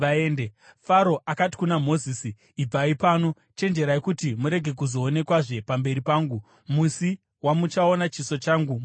Faro akati kuna Mozisi, “Ibvai pano! Chenjerai kuti murege kuzoonekwazve pamberi pangu! Musi wamuchaona chiso changu muchafa.”